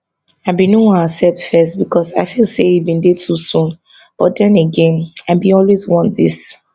i bin no wan accept first becos i feel say e bin dey too soon but den again i bin always want dis